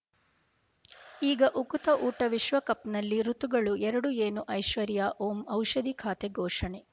ಈಗ ಉಕುತ ಊಟ ವಿಶ್ವಕಪ್‌ನಲ್ಲಿ ಋತುಗಳು ಎರಡು ಏನು ಐಶ್ವರ್ಯಾ ಓಂ ಔಷಧಿ ಖಾತೆ ಘೋಷಣೆ